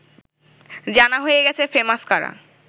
জানা হয়ে গেছে ফেমাস কারা